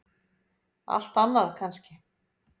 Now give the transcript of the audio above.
Allt annað kannski.